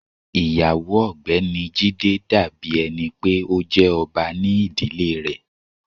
Iyawo Ọgbẹni dabi ẹni pe o jẹ ọba ni idile rẹ.